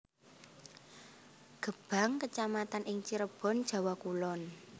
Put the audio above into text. Gebang kecamatan ing Cirebon Jawa Kulon